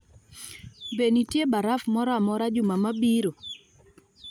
Be nitie baraf moro amora juma mabiro